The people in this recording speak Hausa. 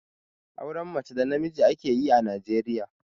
Auren mace da namiji ake yi a Najeriya.